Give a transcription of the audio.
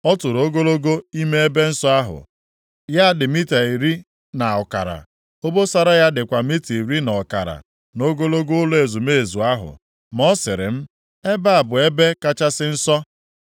Ọ tụrụ ogologo ime ebe nsọ ahụ, ya dị mita iri na ọkara, obosara ya dịkwa mita iri na ọkara, nʼogologo ụlọ ezumezu ahụ. Ma ọ sịrị m, “Ebe a bụ Ebe Kachasị Nsọ.”